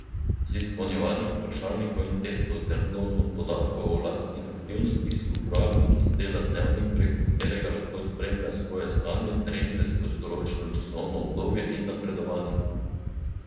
Z izpolnjevanjem vprašalnikov in testov ter vnosom podatkov o lastnih aktivnostih si uporabnik izdela dnevnik, preko katerega lahko spremlja svoje stanje, trende skozi določeno časovno obdobje in napredovanja.